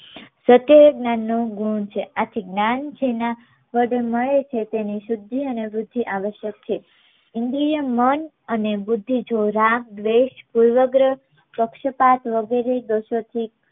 સત્ય એ જ્ઞાન નું ગુણ છે આથી જ્ઞાન જેના વડે મળે છે તેની શુદ્ધિ અને વૃદ્ધી આવશ્યક છે ઇન્દ્રિય મન અને બુદ્ધી જો રામ પુર્વગર્હ પક્શું પાઠ વગરે દોષો થી